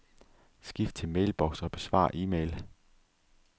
Skift til mailbox og besvar e-mail.